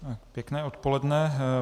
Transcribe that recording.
Pěkné odpoledne.